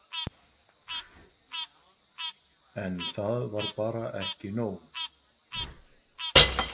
En það var bara ekki nóg.